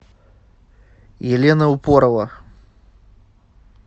елена упорова